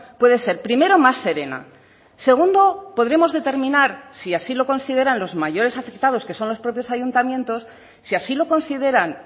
puede ser primero más serena segundo podremos determinar si así lo consideran los mayores afectados que son los propios ayuntamientos si así lo consideran